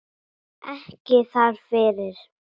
Ekki þar fyrir.